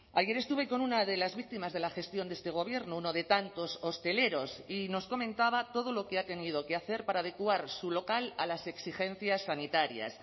ayer estuve con una de las víctimas de la gestión de este gobierno uno de tantos hosteleros y nos comentaba todo lo que ha tenido que hacer para adecuar su local a las exigencias sanitarias